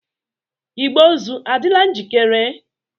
Igbe ozu adịla njikere?